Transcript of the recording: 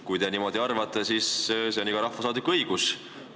Kui te niimoodi arvate, siis see on iga rahvasaadiku õigus.